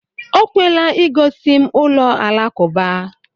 O kwela i gosi m ụlọ alakụba.